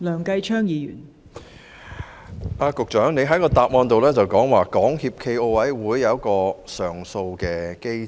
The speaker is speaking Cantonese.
局長的主體答覆提及，港協暨奧委會設有上訴機制。